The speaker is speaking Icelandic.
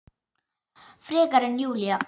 Frekar en Júlía.